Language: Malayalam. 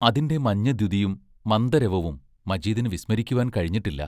അതിന്റെ മഞ്ഞദ്യുതിയും മന്ദരവവും മജീദിനു വിസ്മരിക്കുവാൻ കഴിഞ്ഞിട്ടില്ല.